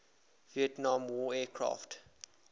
vietnam war aircraft